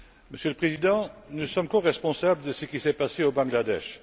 Monsieur le Président, nous sommes coresponsables de ce qui s'est passé au Bangladesh.